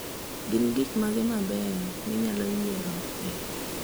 Gin gik mage mabeyo minyalo yiero e